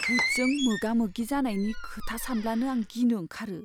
भुतजों मोगा मोगि जानायनि खोथा सानब्लानो आं गिनो ओंखारो।